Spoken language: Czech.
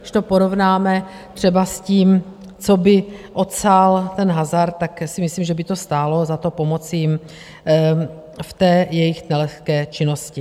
Když to porovnáme třeba s tím, co by odsál ten hazard, tak si myslím, že by to stálo za to pomoci jim v jejich nelehké činnosti.